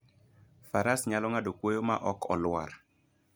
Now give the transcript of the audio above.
Faras nyalo ng'ado kwoyo ma ok olwar.